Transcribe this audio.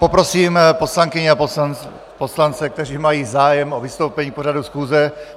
Poprosím poslankyně a poslance, kteří mají zájem o vystoupení k pořadu schůze...